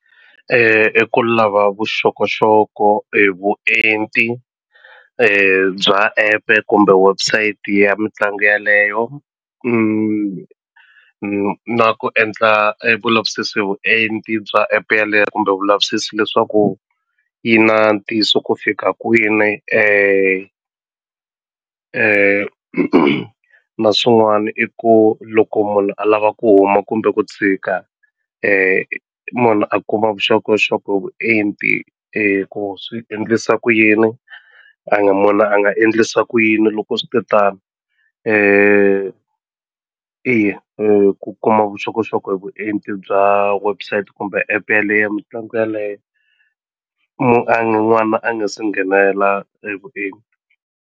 I ku lava vuxokoxoko hi vuenti bya epe kumbe website ya mitlangu yaleyo na ku endla e vulavisisi hi vuenti bya app yaleyo kumbe vulavisisi leswaku yi na ntiyiso ku fika kwini na swin'wani i ku loko munhu a lava ku huma kumbe ku tshika munhu a kuma vuxokoxoko hi vuenti ku swi endlisa ku yini a nga a nga endlisa ku yini loko switetano eya ku kuma vuxokoxoko hi vuenti bya website kumbe app yaleyo ya mitlangu yeleyo n'wana a nga se nghenela hi vuenti.